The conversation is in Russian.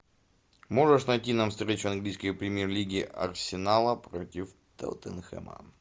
можешь найти нам встречу английской премьер лиги арсенала против тоттенхэма